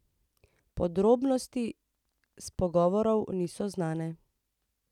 Podrobnosti s pogovorov niso znane.